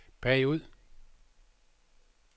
bagud